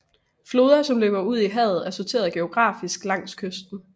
Floder som løber ud i havet er sorteret geografisk langs kysten